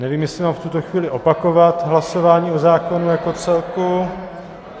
Nevím, jestli mám v tuto chvíli opakovat hlasování o zákonu jako celku.